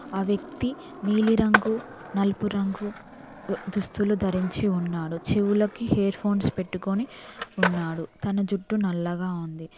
ఆ వ్యక్తి నీలి రంగు నలుపు రంగు దుస్తులు ధరించి ఉన్నాడు చెవులకి హేర్ఫోన్స్ పెట్టుకొని ఉన్నాడు తన జుట్టు నల్లగా ఉంది.